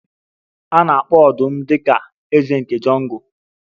A na-akpọ ọdụm dị ka eze nke Jungle